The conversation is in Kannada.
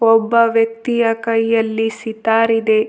ಒಬ್ಬ ವ್ಯಕ್ತಿಯ ಕೈಯಲ್ಲಿ ಸಿತಾರ್ ಇದೆ.